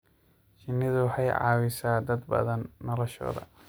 Shinnidu waxay caawisaa dad badan noloshooda.